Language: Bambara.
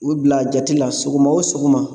U bila a jati la sɔgɔma o sɔgɔma